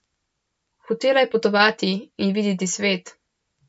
Hotela je potovati in videti svet.